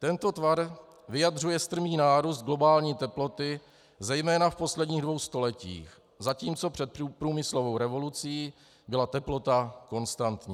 Tento tvar vyjadřuje strmý nárůst globální teploty zejména v posledních dvou stoletích, zatímco před průmyslovou revolucí byla teplota konstantní.